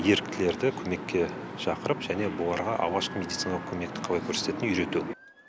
еріктілерді көмекке шақырып және бұларға алғашқы медициналық көмекті қалай көрсететінін үйрету